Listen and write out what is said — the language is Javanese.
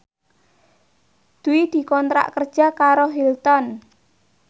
Dwi dikontrak kerja karo Hilton